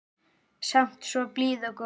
Samt svo blíð og góð.